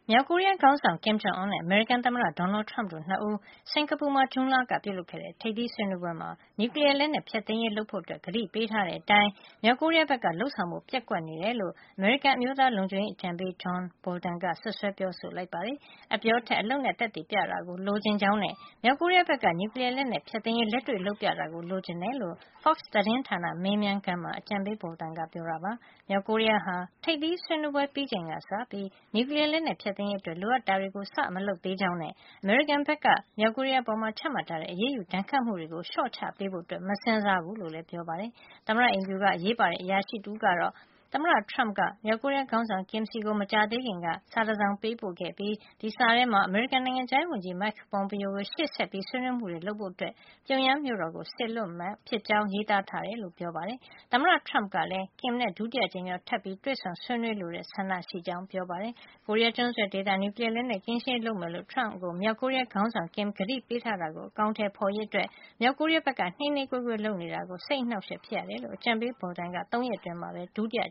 မြောက်ကိုရီးယားခေါင်းဆောင် Kim Jong Un နဲ့ အမေရိကန်သမ္မတ Donald Trump တို့၂ ဦး စင်္ကာပူမှာ ဇွန်လက ပြုလုပ်ခဲ့တဲ့ ထိပ်သီးဆွေးနွေးပွဲမှာ နျူကလီယားလက်နက် ဖျက်သိမ်းရေးလုပ်ဖို့ မြောက်ကိုရီးယားက ကတိပေးထားတဲ့အတိုင်း လုပ်ဆောင်ဖို့ ပျက်ကွက်နေတယ်လို့ အမေရိကန် အမျိုးသားလုံခြုံရေးအကြံပေး John Bolton ကစွပ်စွဲပြောဆိုလိုက်ပါတယ်။ အပြောထက် အလုပ်နဲ့ သက်သေပြတာလိုချင်ကြောင်းနဲ့ မြောက်ကိုရီးယားဘက်က နျူကလီယားလက်နက် ဖျက်သိမ်းရေး လက်တွေ့လုပ်ပြတာ လိုချင်တယ်လို့ လို Fox သတင်းဌာန မေးမြန်းခန်းမှာ အကြံပေး Bolton ကပြောပါတယ်။ မြောက်ကိုရီးယားဟာ ထိပ်သီးဆွေးနွေးပွဲ ပြီးချိန်ကစပြီး နျူကလီယားလက်နက် ဖျက်သိမ်းရေး အတွက် လိုအပ်တာတွေ စ ပြီး မလုပ်သေးကြောင်းနဲ့ အမေရိကန်ဘက်က မြောက်ကိုရီးယားအပေါ် ချမှတ်ထားတဲ့ အရေးယူဒဏ်ခတ်မှုတွေကို လျှော့ချပေးဖို့ မစဉ်းစားဘူးလို့လည်း ပြောပါတယ်။ သမ္မတအိမ်ဖြူက အရေးပါတဲ့ အရာရှိ တဦးကတော့ သမ္မတ Trump က မြောက်ကိုရီးယားခေါင်းဆောင် Kim ဆီကို မကြာသေးခင်က ပေးပို့ခဲ့တဲ့ စာထဲမှာ အမေရိကန် နိုင်ငံခြားရေးဝန်ကြီး Mike Pompeo ကို ရှေ့ဆက် ဆွေးနွေးမှုတွေ လုပ်ဖို့အတွက် ပြုံယမ်းမြို့တော်ကို စေလွှတ်ဖို့ လုပ်မှာ ဖြစ်ကြောင်း ရေးသားထားတယ်လို့ ပြောပါတယ်။ သမ္မတ Trump ကလည်း Kim နဲ့ ဒုတိယအကြိမ်မြောက် ထပ်ပြီး တွေ့ဆုံ ဆွေးနွေးလိုတဲ့ ဆန္ဒရှိကြောင်းပြောပါတယ်။ ကိုရီးယား ကျွန်းဆွယ်ဒေသမှာ နျူကလီယား လက်နက်ကင်းရှင်းရေး လုပ်မယ်လို့ သမ္မတ Trump ကို မြောက်ကိုရီးယား ခေါင်းဆောင် Kim ကတိပေးထားတာကို အကောင်ထည်ဖေါ်ရေးအတွက် မြောက်ကိုရီးယားက နှေးနှေးကွေးကွေး လုပ်နေတာအတွက် စိတ်အနှောက် အယှက် ဖြစ်ရတယ်လို့ အကြံပေး Bolton က သုံးရက် အတွင်း ဒုတိယ